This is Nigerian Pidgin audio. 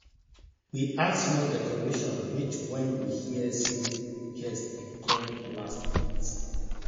we add small decoration reach when we hear say guest dey come last minute